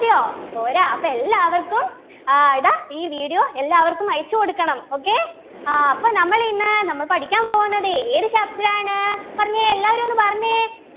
മതിയോ പോരാ അപ്പൊ എല്ലാവർക്കും ആഹ് ഇതാ ഈ video എല്ലാവർക്കും അയച്ചു കൊടുക്കണം okay ആഹ് അപ്പൊ നമ്മളിന്ന് നമ്മൾ പഠിക്കാൻ പോവുന്നതേ ഏത് chapter ആണ് പറഞ്ഞെ എല്ലാവരും ഒന്ന് പറഞ്ഞെ